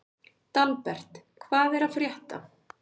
Dalbert, hvað er að frétta?